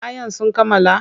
Kayan sun kammala?